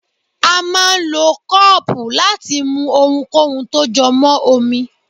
a máà ń lọ kọọpú láti mú ohúnkóhun tó jọ mọ́ omi.